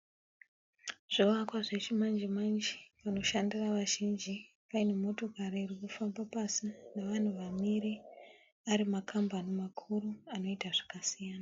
Zvivakwa zvechimanje manje panoshandira vazhinji. Paine motokari iri kufamba pasi nevanhu vamire, ari makambani makuru anoita zvakasiyana.